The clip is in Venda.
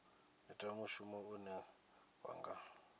ita mushumo une wa nga